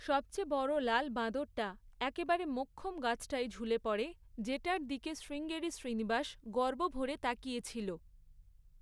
সবচেয়ে বড় লাল বাঁদরটা, একেবারে মোক্ষম গাছটায় ঝুলে পড়ে, যেটার দিকে শ্রীঙ্গেরি শ্রীনিবাস গর্ব ভরে তাকিয়ে ছিল।